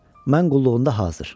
"Mən qulluğunda hazır."